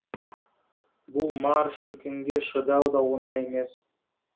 бұл мал шіркінге шыдау да оңай емес